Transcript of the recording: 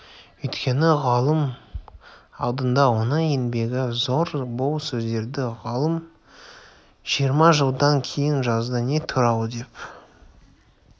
өйткені ғылым алдында оның еңбегі зор бұл сөздерді ғалым жиырма жылдан кейін жазды не туралы деп